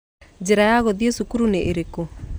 Njĩra ya gũthiĩ cukuru nĩ ĩrĩkũ?